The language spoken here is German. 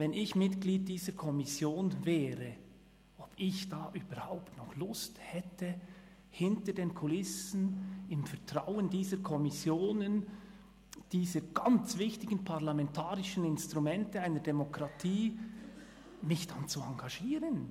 Wenn ich Mitglied dieser Kommission wäre, hätte ich da überhaupt noch Lust, hinter den Kulissen im Vertrauen dieser Kommissionen – dieser ganz wichtigen parlamentarischen Instrumente einer Demokratie – mich zu engagieren?